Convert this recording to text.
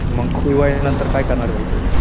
मग T Y नंतर काय करणार भाई तू?